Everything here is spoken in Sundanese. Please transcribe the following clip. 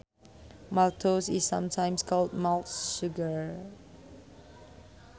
Maltose is sometimes called malt sugar